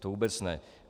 To vůbec ne.